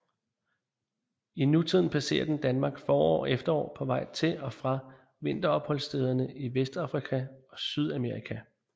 I nutiden passerer den Danmark forår og efterår på vej til og fra vinteropholdsstederne i Vestafrika og Sydamerika